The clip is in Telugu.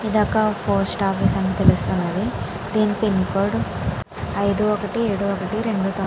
ఇది ఒక పోస్ట్ ఆఫీసు అని తెలుస్తున్నది. దీని పిన కోడ్ అయిదు ఒకటి ఏడు ఒకటి రెండు తొమ్మిది.